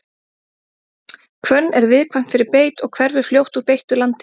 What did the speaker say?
hvönn er viðkvæm fyrir beit og hverfur fljótt úr beittu landi